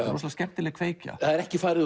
skemmtileg kveikja það er ekki farið út